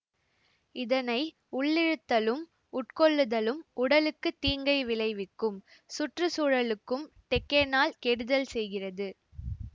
இதனை உள்ளிழுத்தலும் உட்கொள்ளுதலும் உடலுக்கு தீங்கை விளைவிக்கும் சுற்று சூழலுக்கும் டெக்கேனால் கெடுதல் செய்கிறது